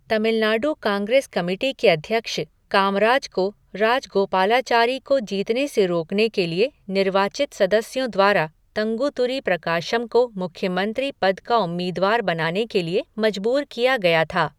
Tamil Nadu Congress committee के अध्यक्ष, कामराज को राजगोपालाचारी को जीतने से रोकने के लिए निर्वाचित सदस्यों द्वारा तंगुतुरी प्रकाशम को मुख्यमंत्री पद का उम्मीदवार बनाने के लिए मजबूर किया गया था।